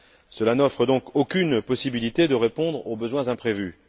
Cela n'offre donc aucune possibilité de répondre aux besoins imprévus.